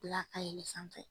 ka yɛlɛn sanfɛ.